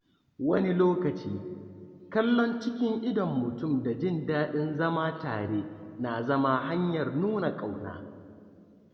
Wani lokaci, kallon cikin idon mutum da jin daɗin zama tare na zama hanyar nuna ƙauna.